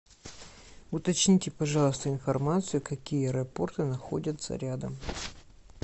уточните пожалуйста информацию какие аэропорты находятся рядом